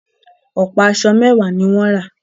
Ọ̀pá aṣọ mẹwàá ní wọ́n rà.